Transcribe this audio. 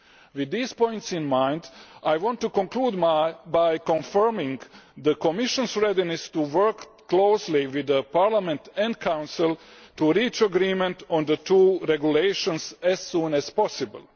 With these points in mind, I want to conclude by confirming the Commission's readiness to work closely with Parliament and the Council to reach agreement on the two regulations as soon as possible.